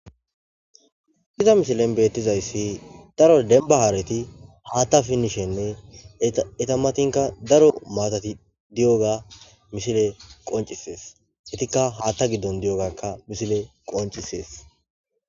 Haysa misilleta betizaysi daro demba hareti haththa pinishene eta matanka daro matatika diyoga misile qoncises etika haththa gidon dizoga misile qoncises.